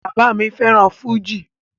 Bàbá mi fẹ́ràn fújì